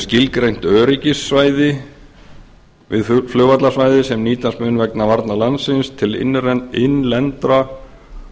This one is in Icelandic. skilgreint öryggissvæði við flugvallarsvæðið sem nýtast mun vegna varna landsins til innlendra